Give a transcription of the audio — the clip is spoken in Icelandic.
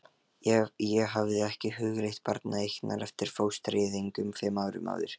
Ég hafði ekki hugleitt barneignir eftir fóstureyðinguna fimm árum áður.